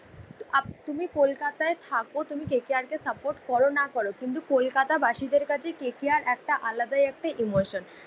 Up তুমি কলকাতায় থাকো তুমি কে কে আর কে সাপোর্ট কর না কর কিন্তু কলকাতাবাসীদের কাছে কে কে আর একটা আলাদাই একটা ইমোশন।